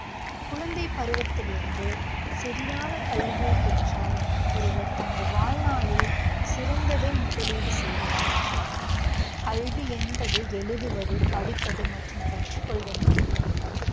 குழந்தைப் பருவத்திலிருந்தே சரியான கல்வியைப் பெற்றால் ஒருவர் தனது வாழ்நாளில் சிறந்ததை முதலீடு செய்கிறார் என்று அர்த்தம். கல்வி என்பது எழுதுவது, படிப்பது மற்றும் கற்றுக்கொள்வது மட்டுமல்ல